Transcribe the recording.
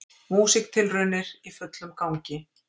Músíktilraunir í fullum gangi